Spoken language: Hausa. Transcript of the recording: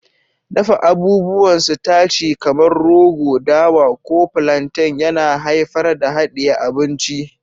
Dafa abubuwan sitaci kamar rogo, dawa, ko plantain yana haifar da hadiye abinci.